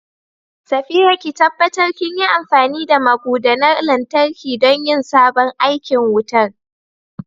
Safira, ki tabbatar kinyi amfani da magudanar lantarki don yin sabon aikin wutar.